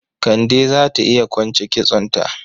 Kande za ta iya kwance kitsonta.